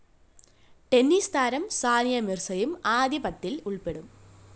tennis താരം സാനിയ മിര്‍സയും ആദ്യ പത്തില്‍ ഉള്‍പ്പെടും